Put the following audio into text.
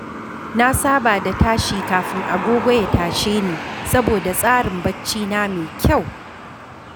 Na saba da tashi kafin agogo ya tashe ni saboda tsarin barcina mai kyau.